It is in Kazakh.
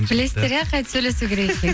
білесіздер иә қайтіп сөйлесу керек екенін